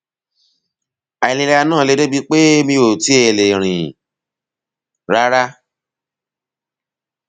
àìlera náà le débi pé mi ò tiẹ lè rìn rárá